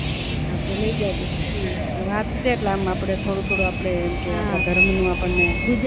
હા તો લય જજે વાચ જે એટલે આમ થોડું થોડું આપડે એમ કે આ ધર્મ નું આપણને